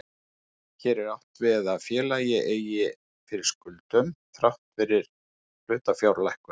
Hér er átt við að félag eigi fyrir skuldum þrátt fyrir hlutafjárlækkun.